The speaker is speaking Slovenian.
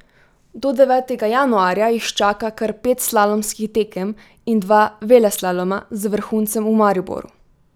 Do devetega januarja jih čaka kar pet slalomskih tekem in dva veleslaloma z vrhuncem v Mariboru.